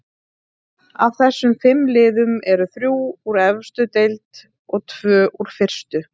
Af þessum fimm liðum eru þrjú úr efstu deild og tvö úr fyrstu.